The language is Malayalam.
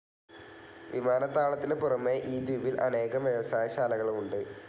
വിമാനത്താവളത്തിനു പുറമേ ഈ ദ്വീപിൽ അനേകം വ്യവസായ ശാലകളും ഉണ്ട്.